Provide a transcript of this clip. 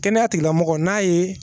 Kɛnɛya tigilamɔgɔ n'a ye